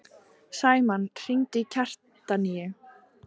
Sæmann, hringdu í Kjartaníu.